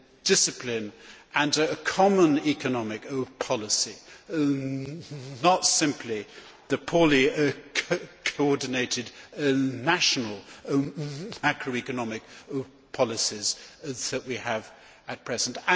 discipline and a common economic policy, not simply the poorly coordinated national macroeconomic policies that we have at present.